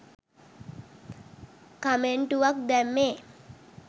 කමෙන්ටුවක් දැම්මේ?